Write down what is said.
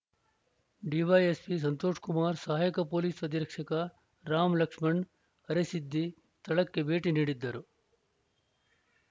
DYSP Santoshkumar ಸಹಾಯಕ police ಅಧೀಕ್ಷಕ ರಾಮ್‌ ಲಕ್ಷಣ ಅರೆಸಿದ್ದಿ ಸ್ಥಳಕ್ಕೆ ಭೇಟಿ ನೀಡಿದ್ದರು